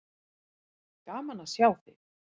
Gaman að sjá þig.